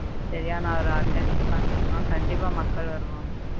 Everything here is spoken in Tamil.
சரியான ஒரு organic பண்ணோம்னா கண்டிப்பா மக்கள் வருவாங்க